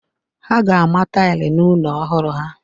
A ga-ama taịlị n'ụlọ ọhụrụ ha.